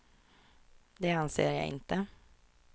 Det anser jag inte.